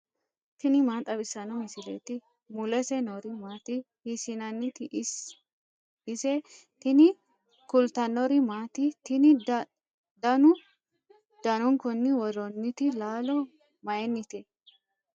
tini maa xawissanno misileeti ? mulese noori maati ? hiissinannite ise ? tini kultannori maati? tinni danu danunkunni woroonnitti laallo mayiinnite?